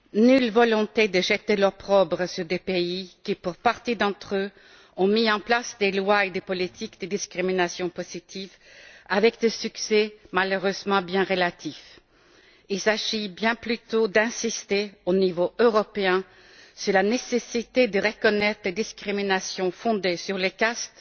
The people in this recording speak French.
Nulle volonté de jeter l'opprobre sur des pays qui, pour partie d'entre eux, ont mis en place des lois et des politiques de discrimination positive avec un succès malheureusement bien relatif. Il s'agit bien plutôt d'insister, au niveau européen, sur la nécessité de reconnaître des discriminations fondées sur les castes